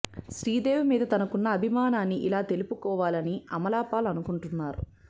శ్రీదేవి మీద తనకున్న అభిమానాన్ని ఇలా తెలుపుకోవాలని అమలా పాల్ అనుకుంటున్నారు